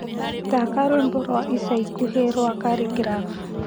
thaka rwĩmbo rwa ica ĩkũhĩ rwa khaligraph